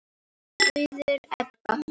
Auður Ebba.